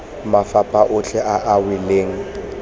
mafapha otlhe a a welang